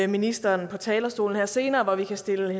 ministeren på talerstolen her senere hvor vi kan stille